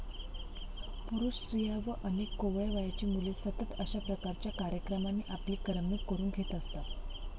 पुरुष, स्त्रिया व अनेक कोवळ्या वयाची मुले सतत अशाप्रकारच्या कार्यक्रमांनी आपली करमणूक करून घेत असतात.